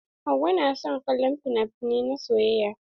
Hauwa na son kallon finafinai na soyayya.